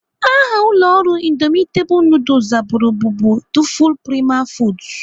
Aha ụlọ ọrụ indomitable nudul zaburu bụbu Duful Prima foods.